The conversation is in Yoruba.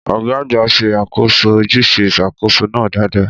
Ọ̀gá àgbà ṣe àkóso ojúṣe ìṣàkóso náà dáadáa.